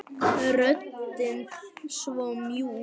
Röddin svo mjúk.